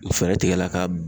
Fɛɛrɛ tigɛ la ka